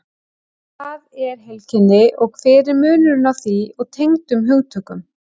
Hvað er heilkenni og hver er munurinn á því og tengdum hugtökum?